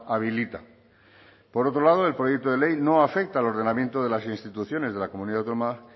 habilita por otro lado el proyecto de ley no afecta al ordenamiento de las instituciones de la comunidad autónoma